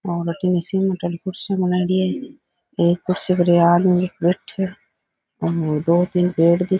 और अठीने सीमेंट आली कुर्सियां लगायेड़ी है एक कुर्सी पर ये आदमी एक बैठयो है और दो तीन पेड़ दि --